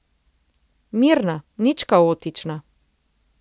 Mirna, nič kaotična.